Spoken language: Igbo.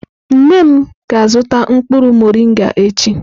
Nne m ga-azuta mkpuru morịngà echi.